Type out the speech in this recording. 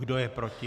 Kdo je proti?